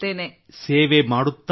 ಸೇವೆ ಮಾಡುತ್ತಾ ಸಾಗಿ